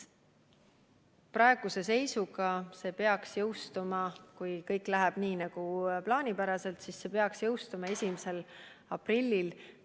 Praeguse seisuga see peaks jõustuma, kui kõik läheb plaanipäraselt, 1. aprillil.